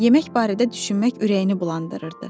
Yemək barədə düşünmək ürəyini bulandırırdı.